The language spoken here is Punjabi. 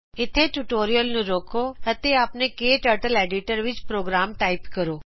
ਇਥੇ ਟਯੂਟੋਰੀਅਲ ਨੂੰ ਰੋਕੋ ਅਤੇ ਆਪਣੇ ਕਟਰਟਲ ਐਡੀਟਰ ਵਿੱਚ ਪ੍ਰੋਗਰਾਮ ਟਾਈਪ ਕਰੋ